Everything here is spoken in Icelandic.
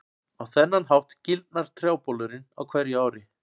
Á þennan hátt gildnar trjábolurinn á hverju ári.